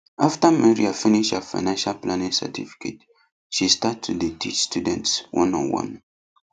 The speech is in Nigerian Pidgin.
after maria finish her financial planning certificate she start to dey teach students oneonone